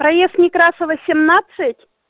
проезд некрасова семнадцать